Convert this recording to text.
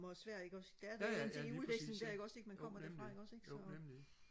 hvor svær ikke også det er der til julefesten man kommer derfra ikke også så